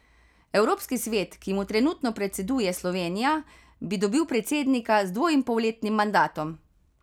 Evropski svet, ki mu trenutno predseduje Slovenija, bi dobil predsednika z dvoinpolletnim mandatom.